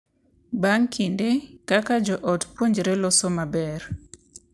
Bang’ kinde, kaka jo ot puonjore loso maber,